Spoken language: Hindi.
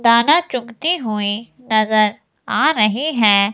दाना चुगती हुई नजर आ रही है।